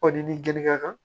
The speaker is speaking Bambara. Ɔ n'i gɛn ŋa kan